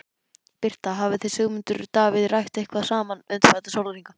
Birta: Hafið þið Sigmundur Davíð rætt eitthvað saman undanfarna sólarhringa?